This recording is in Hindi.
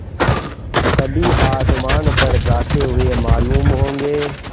कभी आसमान पर जाते हुए मालूम होंगे